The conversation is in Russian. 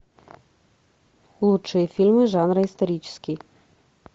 лучшие фильмы жанра исторический